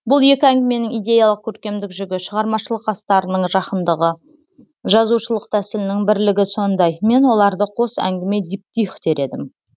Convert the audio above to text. бұл екі әңгіменің идеялық көркемдік жүгі шығармашылық астарының жақындығы жазушылық тәсілінің бірлігі сондай мен оларды қос әңгіме диптих дер едім